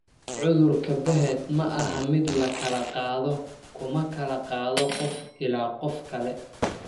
Cudurka Behet ma aha mid la kala qaado; kuma kala qaado qof ilaa qof kale.